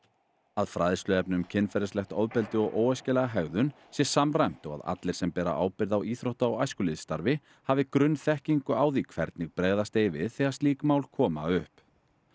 að fræðsluefni um kynferðislegt ofbeldi og óæskilega hegðun sé samræmt og að allir sem bera ábyrgð á íþrótta og æskulýðsstarfi hafi grunnþekkingu á því hvernig bregðast eigi við þegar slík mál koma upp